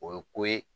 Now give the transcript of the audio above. O ye ko ye